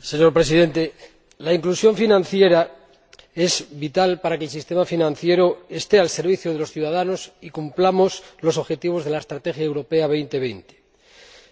Señor Presidente, la inclusión financiera es vital para que el sistema financiero esté al servicio de los ciudadanos y cumplamos los objetivos de la Estrategia Europa 2020.